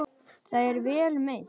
Það er vel meint.